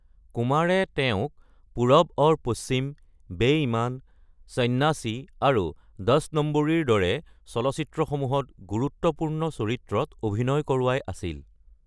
কুমাৰে তেওঁক পুৰব ঔৰ পশ্চিম, বে-ইমান, সন্ন্যাসী, আৰু দস নম্বৰীৰ দৰে চলচ্চিত্ৰসমূহত গুৰুত্বপূৰ্ণ চৰিত্ৰত অভিনয় কৰোৱাই আছিল।